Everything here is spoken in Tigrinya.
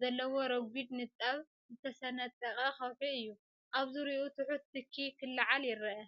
ዘለዎ ረጒድ ንጣብ ዝተሰነጠቐ ከውሒ እዩ። ኣብ ዙርያኡ ትሑት ትኪ ክለዓል ይረአ።